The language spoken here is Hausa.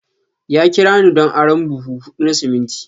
Ya kira ni don arron buhu hudu na siminti.